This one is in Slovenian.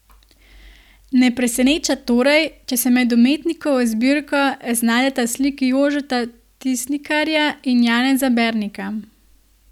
Ne preseneča torej, če se med umetnikovo zbirko znajdeta sliki Jožeta Tisnikarja in Janeza Bernika.